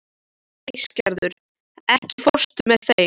Æsgerður, ekki fórstu með þeim?